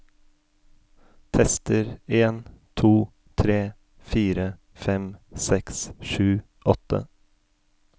Tester en to tre fire fem seks sju åtte